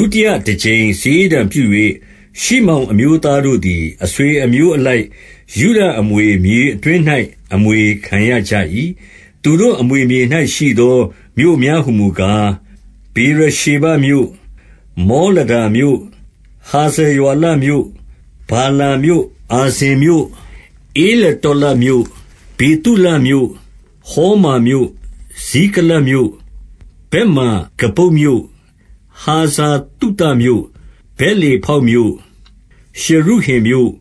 ုတိယတကြိမ်စာရေးတံပြု၍၊ ရှိမောင်အမျိုးသားတို့သည် အဆွေအမျိုးအလိုက် ယုဒအမွေမြေအတွင်း ၌ အမွေခံရကြ၏။ 2 သူတို့အမွေမြေ၌ရှိသော မြို့များဟူမူကား၊ ဗေရ ရှေဘမြို့၊ မောလဒါမြို့၊ 3 ဟာဇာရွာလမြို့၊ ဗာလာမြို့၊ အာဇင်မြို့၊ 4 ဧလတောလဒ်မြို့၊ ဗေသူလမြို့၊ ဟေမာမြို့၊ 5 ဇိကလတ်မြို့၊ ဗက်မာကဗုတ်မြို့၊ ဟာဇာသုသမြို့၊ 6 ဗက်လေဗောက်မြို့၊ ရှရုဟင်မြို့၊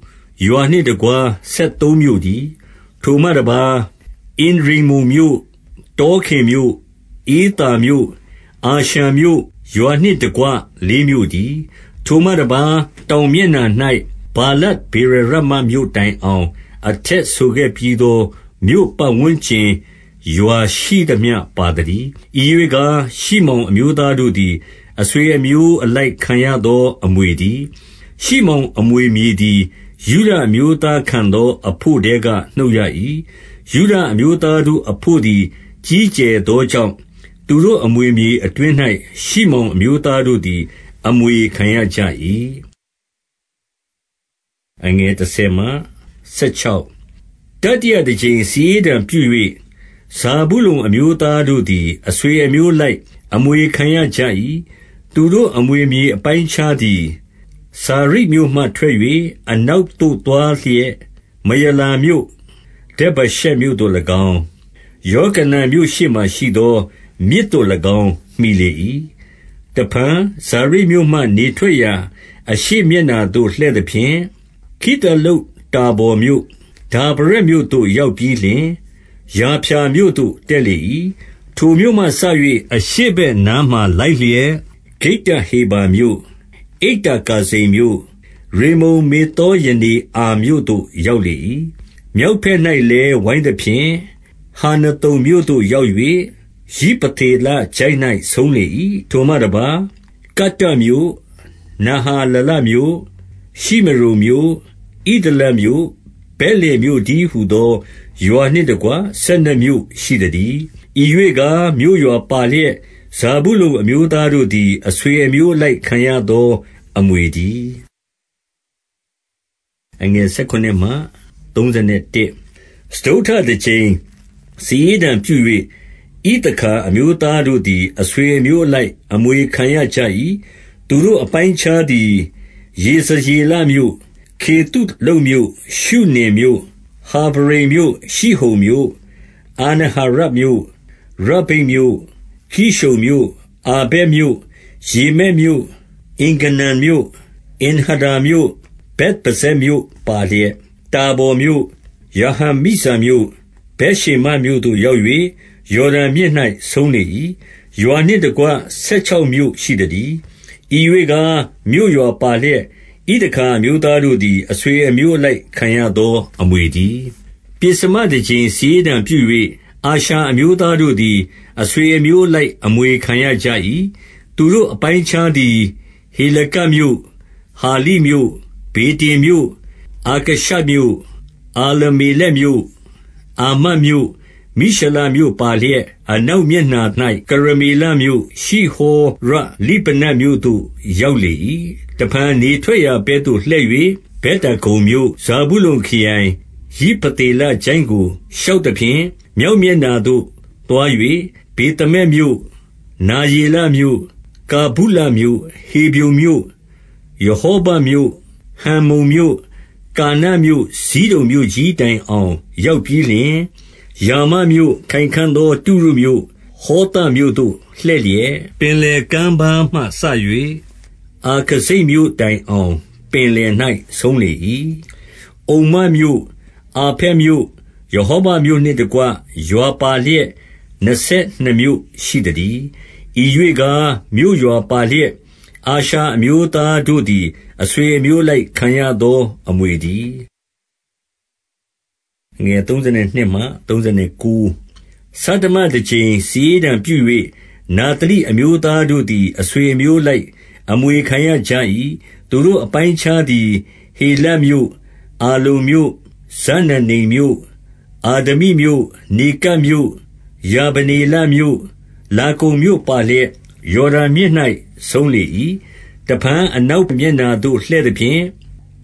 ရွာနှင့်တကွ ဆယ်သုံးမြို့တည်း။ 7 ထိုမှတပါး၊ အင်ရိမ္မုန်မြို့၊ တောခင်မြို့၊ ဧသာမြို့၊ အာရှန်မြို့၊ ရွာနှင့်တကွ လေးမြို့တည်း။ 8 ထိုမှတပါး တောင်မျက်နှာ၌ ဗာလတ်ဗေရရာ မတ်မြို့တိုင်အောင် အထက်ဆိုခဲ့ပြီးသော မြို့ပတ်ဝန်း ကျင် ရွာရှိသမျှပါသတည်း။ ဤရွေ့ကား ရှိမောင်အမျိုး သားတို့သည် အဆွေအမျိုးအလိုက် ခံရသောအမွေတည်း။ 9 ရှိမောင်အမွေမြေသည် ယုဒအမျိုးသားခံသော အဘို့ထဲက နှုတ်ရ၏။ ယုဒအမျိုးသားတို့အဘို့သည် ကြီး ကျယ်သောကြောင့်၊ သူတို့အမွေမြေအတွင်း၌ ရှိမောင် အမျိုးသားတို့သည် အမွေခံရကြ၏။ 10 တတိယတကြိမ်စာရေးတံပြု၍ ဇာဗုလုန်အမျိုး သားတို့သည် အဆွေအမျိုးအလိုက် အမွေခံရကြ၏။ သူတို့ အမွေမြေအပိုင်းအခြားသည် စာရိဒ်မြို့မှထွက်၍၊ 11 အနောက်သို့သွားလျက် မရာလမြို့၊ ဒဗ္ဗရှက်မြို့ သို့၎င်း၊ ယောကနံမြို့ရှေ့မှာရှိသော မြစ်သို့၎င်း မှီလေ၏။ 12 တဖန် စာရိဒ်မြို့မှ နေထွက်ရာအရှေ့မျက်နှာသို့ လှည့်သဖြင့်၊ ခိသလုတ္တာဗော်မြို့၊ ဒါဗရတ်မြို့သို့ ရောက်ပြီး လျှင်၊ ယာဖျာမြို့သို့ တက်လေ၏။ 13 ထိုမြို့မှစ၍ အရှေ့ဘက်နားမှာလိုက်လျက်၊ ဂိတ္တ ဟေဖါမြို့၊ အိတ္တကာဇိန်မြို့၊ ရိမ္မုန်မေသောရနေအာမြို့သို့ ရောက်လေ၏။ 14 မြောက်ဘက်၌လည်း ဝိုင်းသဖြင့်၊ ဟန္နသုန်မြို့ သို့ရောက်၍ ယိဖသေလချိုင့်၌ ဆုံးလေ၏။ 15 ထိုမှတပါး၊ ကတ္တတ်မြို့၊ နဟာလာလမြို့၊ ရှိမရုန် မြို့၊ ဣဒလမြို့၊ ဗက်လင်မြို့တည်းဟူသော ရွာနှင့်တကွ ဆယ်နှစ်မြို့ရှိသတည်း။ 16 ဤရွေ့ကား မြို့ရွာပါလျက် ဇာဗုလုန်အမျိုးသား တို့သည် အဆွေအမျိုးအလိုက် ခံရသောအမွေတည်း။ 17 စတုတ္ထတကြိမ် စာရေးတံပြု၍ ဣသခါအမျိုး သားတို့သည် အဆွေအမျိုးအလိုက် အမွေခံရကြ၏။ 18 သူတို့အပိုင်းအခြားသည် ယေဇရေလမြို့၊ ခေသု လုတ်မြို့၊ ရှုနင်မြို့၊ 19 ဟာဖရိမ်မြို့၊ ရှိဟုန်မြို့၊ အာနဟာရတ်မြို့၊ 20 ရဗ္ဗိတ်မြို့၊ ကိရှုန်မြို့၊ အာဗက်မြို့၊ 21 ရေမက်မြို့၊ အင်္ဂန္နမြို့၊ အင်္ဟဒ္ဒါမြို့၊ ဗက်ပဇ္ဇက်မြို့ ပါလျက်၊ 22 တာဗော်မြို့၊ ရာဟဇိမမြို့၊ ဗက်ရှေမက်မြို့သို့ ရောက်၍ ယော်ဒန်မြစ်၌ ဆုံးလေ၏။ ရွာနှင့်တကွ ဆယ် ခြောက်မြို့ရှိသတည်း။ 23 ဤရွေ့ကား မြို့ရွာပါလျက် ဣသခါအမျိုးသား တို့သည် အဆွေအမျိုးအလိုက် ခံရသောအမွေတည်း။ 24 ပဥ္စမတကြိမ် စာရေးတံပြု၍ အာရှာအမျိုးသား တို့သည် အဆွေအမျိုးအလိုက် အမွေခံရကြ၏။ 25 သူတို့အပိုင်းအခြားသည် ဟေလကတ်မြို့၊ ဟာလိမြို့၊ ဗေတင်မြို့၊ အာခရှပ်မြို့၊ 26 အာလမ္မေလက်မြို့၊ အာမဒ်မြို့၊ မိရှာလမြို့ပါ လျက်၊ အနောက်မျက်နှာ၌ ကရမေလမြို့၊ ရှိဟောရလိဗ နတ်မြို့သို့ ရောက်လေ၏။ 27 တဖန် နေထွက်ရာဘက်သို့လှည့်၍ ဗက်ဒါဂုန် မြို့၊ ဇာဗုလုန်ခရိုင်၊ ယိဖသေလချိုင့်ကို ရှောက်သဖြင့်၊ မြောက်မျက်နှာသို့သွား၍ ဗေသမက်မြို့၊ နယေလမြို့၊ ကာ ဗုလမြို့၊ 28 ဟေဗြုန်မြို့၊ ရဟောဘမြို့၊ ဟမ္မုန်မြို့၊ ကာနမြို့၊ ဇိဒုန်မြို့ကြီးတိုင်အောင် ရောက်ပြီးလျှင်၊ 29 ရာမမြို့၊ ခိုင်ခံ့သောတုရုမြို့၊ ဟောသမြို့သို့ လှည့်လျက်၊ ပင်လယ်ကမ်းပါးမှစ၍ အာခဇိပ်မြို့တိုင် အောင် ပင်လယ်၌ဆုံးလေ၏။ 30 အုမ္မမြို့၊ အာဖက်မြို့၊ ရဟောဘမြို့နှင့်တကွ ရွာပါလျက် နှစ်ဆယ်နှစ်မြို့ရှိသတည်း။ 31 ဤရွေ့ကား မြို့ရွာပါလျက် အာရှာအမျိုးသားတို့ သည် အဆွေအမျိုးအလိုက် ခံရသောအမွေတည်း။ 32 ဆဌမတကြိမ် စာရေးတံပြု၍ နဿလိအမျိုး သားတို့သည် အဆွေအမျိုးအလိုက် အမွေခံရကြ၏။ 33 သူတို့အပိုင်းအခြားသည် ဟေလပ်မြို့၊ အာလုန်မြို့၊၊ ဇာနန္နိမ်မြို့၊ အာဒမိမြို့၊ နေကပ်မြို့၊ ယာဗနေလမြို့၊ လာကုံမြို့ပါလျက် ယော်ဒန်မြစ်၌ ဆုံးလေ၏။ 34 တဖန် အနောက်မျက်နှာသို့ လှည့်သဖြင့်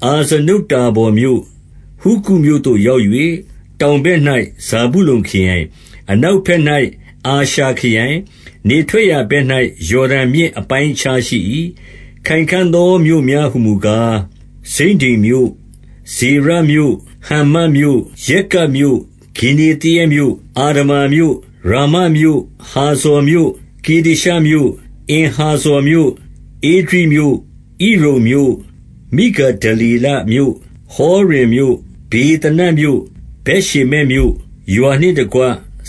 အာဇနုတ္တာဘော်မြို့၊ ဟုကုတ်မြို့သို့ရောက်၍၊ တောင် ဘက်၌ ဇာဗုလုန်ခရိုင်၊ အနောက်ဘက်၌ အာရှာခရိုင်၊ နေထွက်ရာဘက်၌ ယော်ဒန်မြစ်အပိုင်းအခြားရှိ၏။ 35 ခိုင်ခံ့သောမြို့များ ဟူမူကား၊ ဇိဒ္ဒိမ်မြို့၊ ဇေရမြို့၊ ဟမ္မတ်မြို့၊ ရက္ကတ်မြို့၊ ဂင်္နေသရက်မြို့၊ 36 အာဒမာမြို့၊ ရာမမြို့၊ ဟာဇော်မြို့၊ 37 ကေဒေရှမြို့၊ အင်ဟာဇော်မြို့၊ ဧဒြိမြို့၊ 38 ဣရုန်မြို့၊ မိဂဒလေလမြို့၊ ဟောရင်မြို့၊ ဗေသ နတ်မြို့၊ ဗက်ရှေမက်မြို့၊ ရွာနှင့်တကွ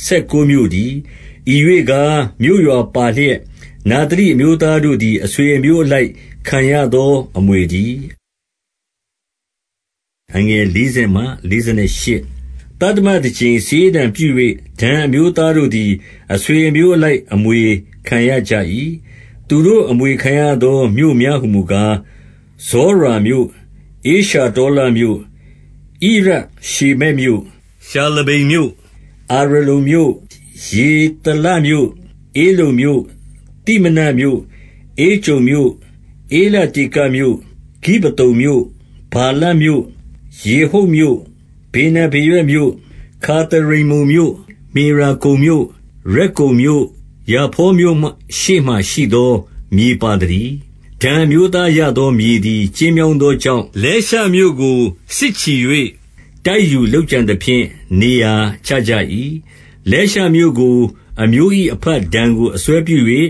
ဆယ်ကိုးမြို့တည်း။ 39 ဤရွေ့ကား မြို့ရွာပါလျက်၊ နဿလိအမျိုးသား တို့သည် အဆွေအမျိုးအလိုက် ခံရသောအမွေတည်း။ 40 သတ္တမတကြိမ် စာရေးတံပြု၍ ဒန်အမျိုးသားတို့ သည် အဆွေအမျိုးအလိုက် အမွေခံရကြ၏။ 41 သူတို့အမွေခံရသော မြို့များဟူမူကား၊ ဇောရာ မြို့၊ ဧရှတောလမြို့၊ ဣရရှေမက်မြို့၊ 42 ရှာလဗ္ဗိန်မြို့၊ အာယလုန်မြို့၊ ယေသလမြို့၊ 43 ဧလုန်မြို့၊ သိမနာသမြို့၊ ဧကြုန်မြို့၊ 44 ဧလတေကမြို့၊ ဂိဗ္ဗသုန်မြို့၊ ဗာလပ်မြို့၊ 45 ယေဟုတ်မြို့၊ ဗေနဗေရက်မြို့၊ ဂါသရိမ္မုန်မြို့၊ 46 မေယာကုန်မြို့၊ ရက္ကုန်မြို့၊ ယာဖေါမြို့ရှေ့မှာရှိ သော မြေပါသတည်း။ 47 ဒန်အမျိုးသားရသောမြေသည် ကျဉ်းမြောင်း သောကြောင့်၊ လဲရှမြို့ကို စစ်ချီ၍တိုက်ယူလုပ်ကြံသဖြင့် နေရာချကြ၏။ လဲရှမြို့ကို၊ အမျိုး၏အဘဒန်ကို အစွဲပြု၍၊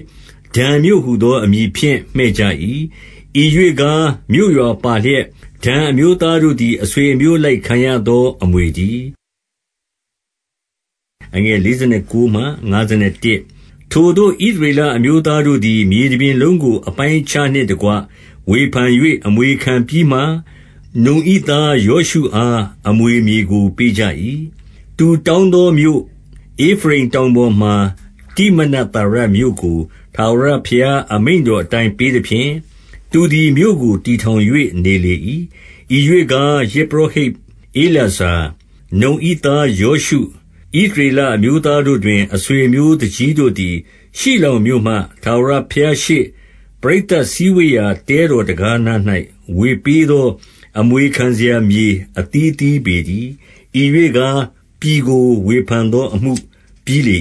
ဒန်မြို့ဟူသောအမည်ဖြင့် မှည့်ကြ၏။ 48 ဤရွေ့ကား မြို့ရွာပါလျက်၊ ဒန်အမျိုးသားတို့ သည် အဆွေအမျိုးအလိုက် ခံရသောအမွေတည်း။ 49 ထိုသို့ ဣသရေလအမျိုးသားတို့သည် မြေတပြင် လုံးကို အပိုင်းအခြားနှင့်တကွ ဝေဖန်၍ အမွေခံပြီးမှ၊ နုန်၏သားယောရှုအား အမွေမြေကို ပေးကြ၏။ 50 သူတောင်းသောမြို့ ဧဖရိမ်တောင်ပေါ်မှာ တိမ နဿေရမြို့ကို ထာဝရဘုရားအမိန့်တော်အတိုင်း ပေးသ ဖြင့်၊ သူသည် မြို့ကိုတည်ထောင်၍ နေလေ၏။ 51 ဤရွေ့ကား ယဇ်ပုရောဟိတ်ဧလာဇာ၊ နုန်၏ သားယောရှု၊ ဣသရေလအမျိုးသားတို့တွင် အဆွေအမျိုး သူကြီးတို့သည်၊ ရှိလောမြို့မှာ ထာဝရဘုရားရှေ့ ပရိသတ် စည်းဝေးရာတဲတော်တံခါးနား၌ ဝေပေးသော အမွေခံ စရာမြေ အသီးသီးပေတည်း။ ဤရွေ့ကား၊ ပြည်ကို ဝေဖန်သောအမှု ပြီးလေ